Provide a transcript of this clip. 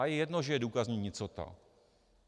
A je jedno, že je důkazní nicota.